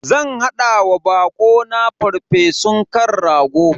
Zan hada wa bako na farfesun kan rago.